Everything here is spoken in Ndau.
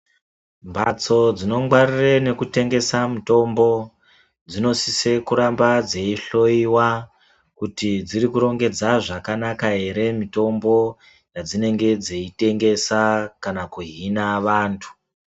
Mbatsi dzinongwarire nekutengesa mitombo dzinosise kuramba dzeihoiwa. Kuti dzirikurongedza zvakanaka ere mitombo yadzinenge dzeitengesa kana kuhina vantu.